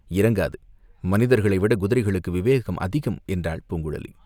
"இறங்காது, மனிதர்களைவிடக் குதிரைகளுக்கு விவேகம் அதிகம்!" என்றாள் பூங்குழலி.